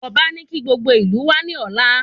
Ọba ní kí gbogbo ìlú wá ní ọ̀la